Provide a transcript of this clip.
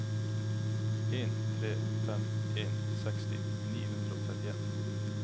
en tre fem en seksti ni hundre og trettien